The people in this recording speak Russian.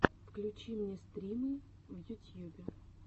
включи мне стримы в ютьюбе